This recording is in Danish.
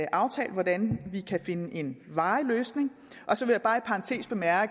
aftalt hvordan vi kan finde en varig løsning så vil